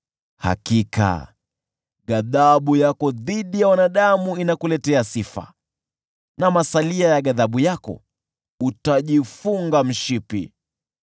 Hakika ghadhabu yako dhidi ya wanadamu inakuletea sifa, na masalia ya ghadhabu yako unajifunga mshipi.